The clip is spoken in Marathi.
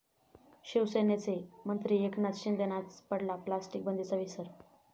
शिवसेनेचे मंत्री एकनाथ शिंदेंनाच पडला प्लास्टिक बंदीचा विसर!